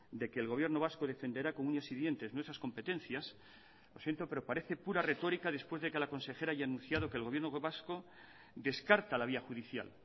de que el señor erkoreka defenderá con uñas y dientes nuestras competencias lo siento pero parece pura retórica después de que la consejera haya anunciado que el gobierno vasco descarta la vía judicial